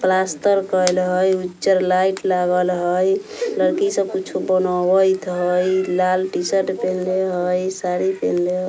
प्लास्टर कइल हई उज्जर लाइट लागल हई लड़की सब कुछौ बनावित हई लाल टी-शर्ट पहिनले हई साड़ी पहिनले ह --